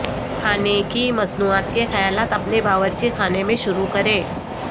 کھانے کی مصنوعات کے خیالات اپنے باورچی خانے میں شروع کریں